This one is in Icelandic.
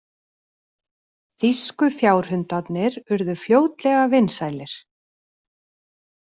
Þýsku fjárhundarnir urðu fljótlega vinsælir.